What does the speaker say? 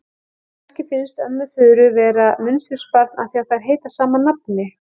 Kannski finnst ömmu Þura vera munsturbarn af því að þær heita sama nafni.